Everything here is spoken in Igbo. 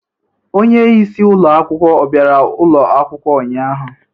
Onye isi ụlọ akwụkwọ ọ bịara ụlọ akwụkwọ ụnyahụ?